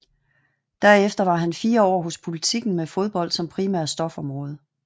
Derefter var han fire år hos Politiken med fodbold som primært stofområde